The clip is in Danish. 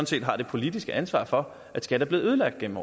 set har det politiske ansvar for at skat er blevet ødelagt igennem